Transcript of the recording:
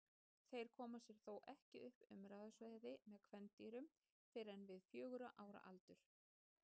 Þeir koma sér þó ekki upp umráðasvæði með kvendýrum fyrr en við fjögurra ára aldur.